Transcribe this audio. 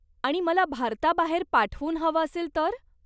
आणि मला भारताबाहेर पाठवून हवं असेल तर?